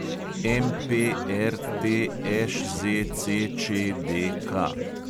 MPRTŠZCČDK